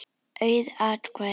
Auð atkvæði